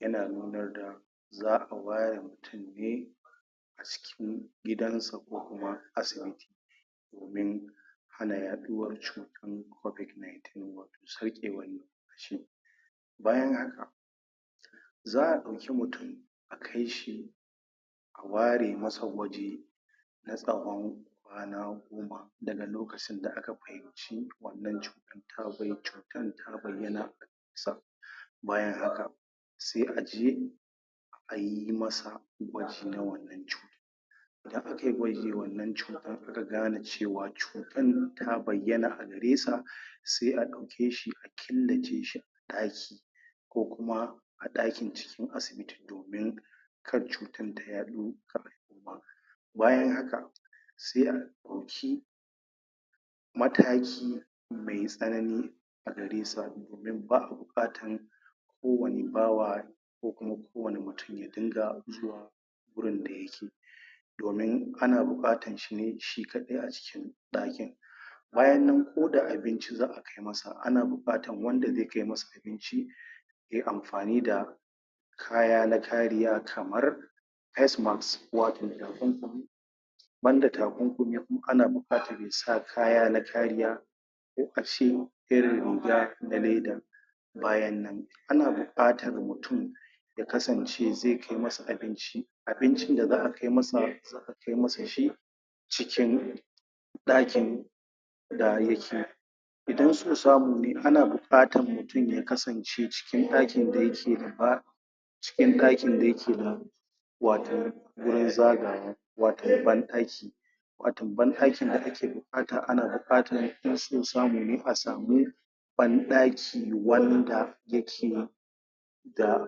Yana nu nar za awayar tini cikin gidansa ko kuma asa domin hana yaɗuwar cu tan kobid naitin sarkewan nim fashi bayan haka za a ɗauki mutun a kaishi a ware masa waje na tsawon kwana daga lokacin da aka wannan cutan cutan ta bayyana bayan haka se aje ayi masa gwaji na wannan cuta idan akai gwaji wannan cutan aka gane cewa cu cutan ta bayyana agaresa se a ɗauke shi a killace shi a ɗaki ko kuma a ɗaki cikin asibiti bin kar cutar ta yaɗu bayan haka se a ɗauki mataki me tsanani agaresa ba a buƙatan ko wani bawa ko kuma kowani mutun yadunga zuwa gurin da yake domin ana buƙatan shine shi kaɗai a ɗakin bayannan koda abinci za a kai masa ana buƙatan wanda ze kai masa ci yay amfani da kaya na kariya kamar face mask wato takum kumi banda ta kumkumi in ana buƙatan yasa kaya na kariya ko ashe irin riga na leda bayannan ana buƙatar mutun yakasance ze kai masa abinci abincin da za a kai masa kai masa shi cikin ɗakin da yake idan so samu ne ana buƙatan mutun yakasance ciki ɗakin dayake ciki ɗakin dayake waton gurin zagawa watan banɗaki watan banɗakin da ake buƙata ana buƙatan inso samune asamu banɗaki wanda yake da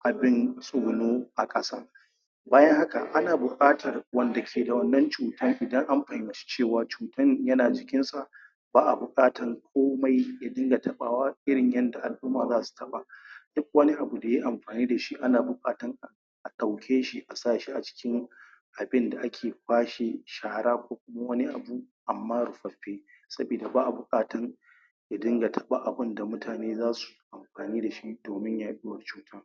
abin tsuguno aƙasa bayan haka ana buƙatan wanda ke da wannan cu tan idan amfahimci cewan cuta yana jikinsa ba'abuƙatan ko mai yadunga taɓawa irin yanda al'umma zasu taɓa duk wani abu da yayi amfani dashi ana buƙatan a ɗaukeshi asashi acikin abin da ake bashi shara ko wani abu amma rufaffe sabida ba'abuƙatun yadunga taɓan abun mutane zasu fani dashi domin yaɗuwar cu